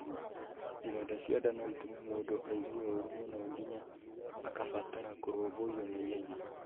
Ironda cia nda no itũme mũndũ aigue ũũru mũno nginya akabatara kũrũmbũiyo na ihenya